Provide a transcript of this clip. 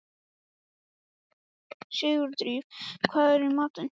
Sigurdríf, hvað er í matinn?